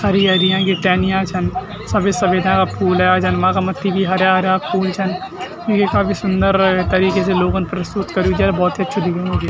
हरी-हरी यांकी टेहेनियाँ छन सभी सुविधा का फूल फूल हरा-हरा फूल छन ये काफी सुन्दर तरीके से लोगोन प्रस्तुत कर्युं च और भोत ही अछू दिखेणु ये।